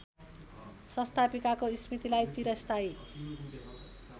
संस्थापिकाको स्मृतिलाई चिरस्थायी